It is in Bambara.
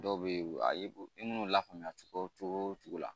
Dɔw bɛ yen ayi minnu lafaamuya cogo cogo la